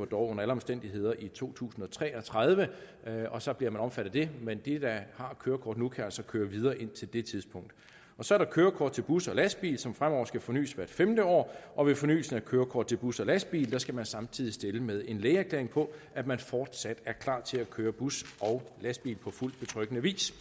under alle omstændigheder udløber i to tusind og tre og tredive og så bliver man omfattet af det men de der har kørekort nu kan altså køre videre indtil det tidspunkt så er der kørekort til bus og lastbil som fremover skal fornys hvert femte år og ved fornyelsen af kørekort til bus og lastbil skal man samtidig stille med en lægeerklæring på at man fortsat er klar til at køre bus og lastbil på fuldt betryggende vis